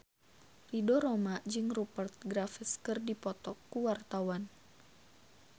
Ridho Roma jeung Rupert Graves keur dipoto ku wartawan